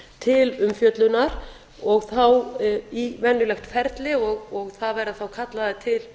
til umfjöllunar og þá í venjulegt ferli og það verða þá kallaðir til